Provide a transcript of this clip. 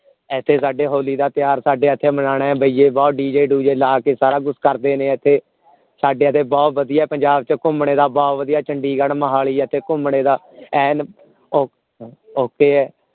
ਇਥੇ ਸਾਡੇ ਹੋਲੀ ਦਾ ਤਿਓਹਾਰ ਸਾਡੇ ਇਥੇ ਮਨਾਣਾ ਹੈ ਭਾਈਏ ਬਹੁਤ D. J. ਦੂਜੇ ਲੈ ਕੇ ਸਾਰਾ ਕੁਛ ਕਰਦੇ ਨੇ ਇਥੇ ਸਾਡੇ ਇਥੇ ਘੁੱਮਣੇ ਦਾ ਬਹੁਤ ਵਧੀਆ ਪੰਜਾਬ ਚ ਚੰਡੀਗੜ੍ਹ ਮੋਹਾਲੀ ਇਥੇ ਘੁੱਮਣੇ ਦਾ ਐਨ ਓ okay ਹੈ